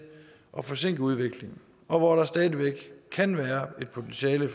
at forsinke udviklingen og hvor der stadig væk kan være et potentiale i